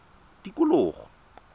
tikologo